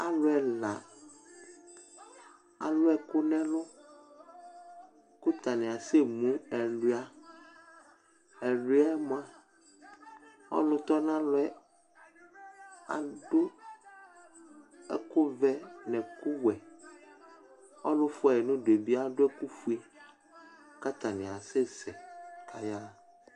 Alu ɛla alʋ ɛkʋ nʋ ɛlʋ, kʋ atani asɛ emʋ ɛlʋia Ɛlʋia yɛ mʋa ɔlʋ tɔnʋ alɔ yɛ adʋ ɛkʋvɛ nʋ ɛkʋwɛ Ɔlʋ yɛ fuayɩ nʋ ʋdʋ yɛ bɩadʋ ɛkʋfue, kʋ atani asɛseyaɣa